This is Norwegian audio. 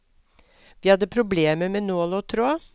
Vi hadde problemer med nål og tråd.